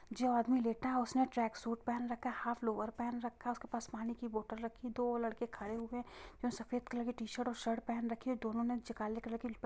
जो आदमी लेटा है उसने ट्रैक सूट पेहेन रखा है| हाफ लोर पेहेन रखा है उसके पास पानी की बोतल रखी हुई है| दो लड़के खड़े हुए है जो सफेद कलर की टी-शर्ट और शर्ट पेहेन रखे है दोनों ने काले कलर की ल पे --